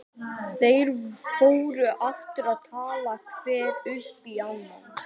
Þeir fóru aftur að tala hver upp í annan.